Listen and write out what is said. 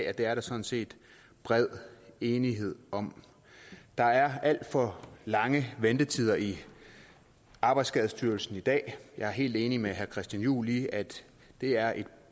at det er der sådan set bred enighed om der er alt for lange ventetider i arbejdsskadestyrelsen i dag og jeg er helt enig med herre christian juhl i at det er et